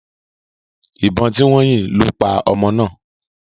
Ìbọn tí wọ́n yìn lo paa ọmọ náà.